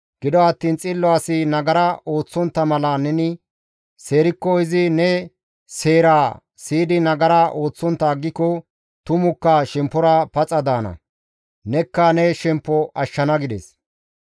Gido attiin xillo asi nagara ooththontta mala neni seerikko, izi ne seeraa siyidi nagara ooththontta aggiko, tumukka shemppora paxa daana; nekka ne shemppo ashshana» gides.